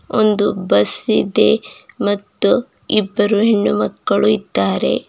ಒಂದು ಬಸ್ ಇದೆ ಮತ್ತು ಇಬ್ಬರು ಹೆಣ್ಣು ಮಕ್ಕಳು ಇದ್ದಾರೆ.